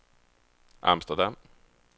Amsterdam